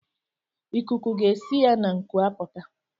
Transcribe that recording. Ikuku ga-esi ya n'ngu apụta